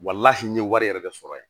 n ye wari yɛrɛ de sɔrɔ yen